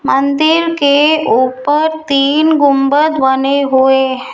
मंदिर के ऊपर तीन गुंबद बने हुए है।